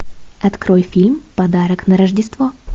открой фильм подарок на рождество